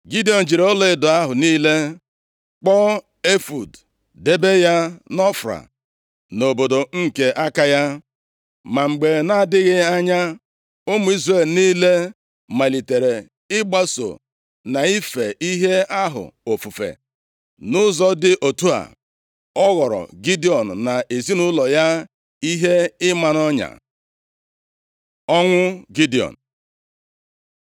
Gidiọn jiri ọlaedo ahụ niile kpụọ efọọd debe ya nʼOfra, nʼobodo nke aka ya. Ma mgbe na-adịghị anya, ụmụ Izrel niile malitere ịgbaso na ife ihe ahụ ofufe. Nʼụzọ dị otu a, ọ ghọọrọ Gidiọn na ezinaụlọ ya ihe ịma nʼọnya. Ọnwụ Gidiọn